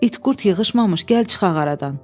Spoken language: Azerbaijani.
"İt-qurd yığışmamış gəl çıxaq aradan."